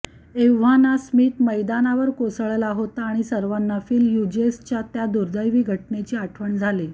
एव्हाना स्मिथ मैदानावर कोसळला होता आणि सर्वांना फिल हय़ुजेसच्या त्या दुर्दैवी घटनेची आठवण झाली